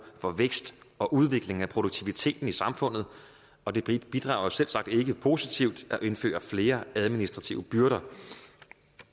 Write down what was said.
for vækst og udvikling af produktiviteten i samfundet og det bidrager selvsagt ikke positivt at indføre flere administrative byrder